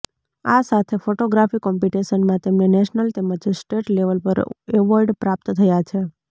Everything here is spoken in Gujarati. આ સાથે ફોટોગ્રાફી કોમ્પિટિશનમાં તેમને નેશનલ તેમજ સ્ટેટ લેવલ પર એવોર્ડ પ્રાપ્ત થયાં છે